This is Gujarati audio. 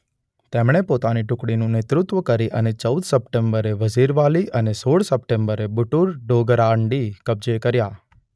તેમણે પોતાની ટુકડીનું નેતૃત્વ કરી અને ચૌદ સપ્ટેમ્બરે વઝીરવાલી અને સોળ સપ્ટેમ્બરે બુટુર-ડોગરાન્ડી કબ્જે કર્યા.